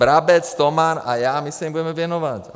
Brabec, Toman a já, my se jim budeme věnovat.